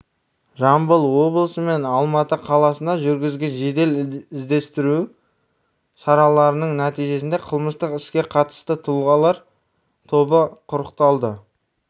жамбыл облысы мен алматы қаласына жүргізген жедел-іздестіру шараларының нәтижесінде қылмыстық іске қатысты тұлғалар тобы құрықталды